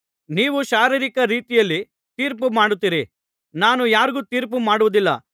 ನೀವು ಶಾರೀರಿಕ ರೀತಿಯಲ್ಲಿ ತೀರ್ಪು ಮಾಡುತ್ತೀರಿ ನಾನು ಯಾರಿಗೂ ತೀರ್ಪು ಮಾಡುವುದಿಲ್ಲ